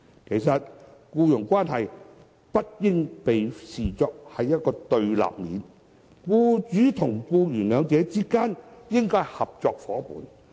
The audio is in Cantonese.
其實僱傭關係不應被視作對立面，僱主與僱員之間應該是合作夥伴。